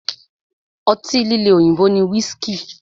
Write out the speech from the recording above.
Ọtí líle òyìnbó ni whiski.